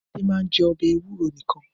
Adé máa ń jẹ ọbẹ̀ ewúro nìkan?